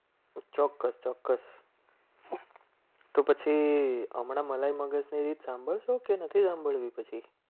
ચોક્કસ ચોક્કસ તો પછી હમણાં મલાઈ સાંભળ જ કે નથી. સાંભળવી પછી